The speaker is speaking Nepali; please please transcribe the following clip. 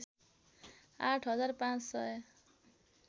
आठ हजार पाँच सय